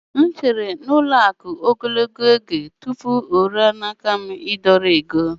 M chere n'ụlọ akụ̀ ogologo oge tupu o ruo n'aka m ịdọrọ ego.